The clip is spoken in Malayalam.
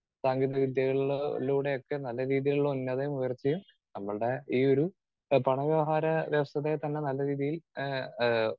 സ്പീക്കർ 2 സാങ്കേതികവിദ്യകളില് ലൂടെ ഒക്കെ നല്ല രീതിയിലുള്ള ഉന്നതിയും ഉയർച്ചയും നമ്മളുടെ ഈ ഒരു പണ വ്യവഹാര വ്യവസ്ഥിതിയെ തന്നെ നല്ല രീതിയിൽ ഏഹ് ആഹ്